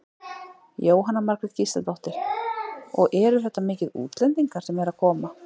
Jóhanna Margrét Gísladóttir: Og eru þetta mikið útlendingar sem eru að koma?